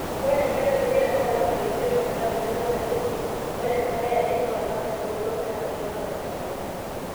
ore enkata edukuya naa olapa leimiet o metabaiki olapa leisiet ,ore enkata e are naa olapa lioudo ometabaiki olapa le dukuya